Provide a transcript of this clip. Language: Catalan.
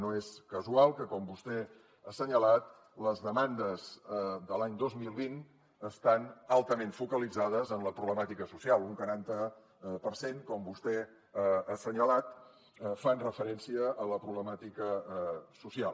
no és casual que com vostè ha assenyalat les demandes de l’any dos mil vint estan altament focalitzades en la problemàtica social un quaranta per cent com vostè ha assenyalat fan referència a la problemàtica social